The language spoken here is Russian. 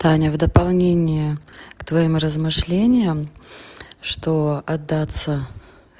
таня в дополнение к твоим размышлениям что отдаться